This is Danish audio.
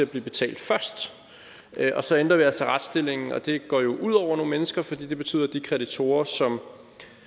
dem betalt først så ændrer vi altså retsstillingen og det går jo ud over nogle mennesker for det betyder at de kreditorer som